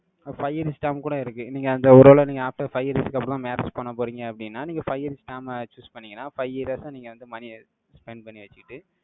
அஹ் Five instam கூட இருக்கு. நீங்க அந்த ஒருவேளை நீங்க after five years க்கு அப்புறம் marriage பண்ண போறீங்க அப்படின்னா, நீங்க five years plan choose பண்ணீங்கன்னா, five years ஆ நீங்க வந்து money ய spend பண்ணி வச்சுட்டு,